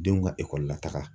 Denw ka ekɔli la taga